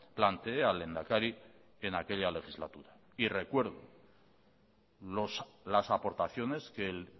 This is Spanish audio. planteé al lehendakari en aquella legislatura y recuerdo las aportaciones que el